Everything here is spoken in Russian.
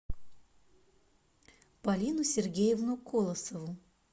полину сергеевну колосову